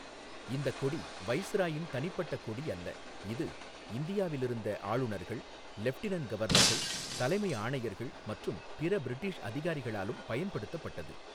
இந்தக் கொடி வைஸ்ராயின் தனிப்பட்ட கொடி அல்ல, இது இந்தியாவில் இருந்த ஆளுநர்கள், லெஃப்டினன்ட் கவர்னர்கள், தலைமை ஆணையர்கள் மற்றும் பிற பிரிட்டிஷ் அதிகாரிகளாலும் பயன்படுத்தப்பட்டது.